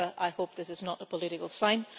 I hope this is not a political sign.